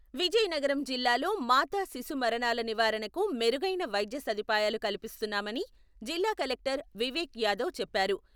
విజయనగరం జిల్లాలో మాతా శిశు మరణాల నివారణకు మెరుగైన వైద్య సదుపాయాలు కలిపిస్తున్నామని జిల్లా కలెక్టర్ వివేక్ యాదవ్ చెప్పారు.